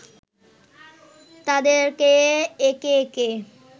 তাদেরকে একে একে